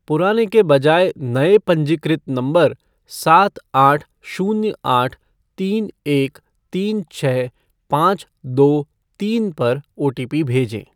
पुराने के बजाय नए पंजीकृत नंबर सात आठ शून्य आठ तीन एक तीन छः पाँच दो तीन पर ओटीपी भेजें ।